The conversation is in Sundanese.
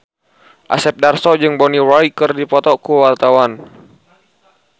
Asep Darso jeung Bonnie Wright keur dipoto ku wartawan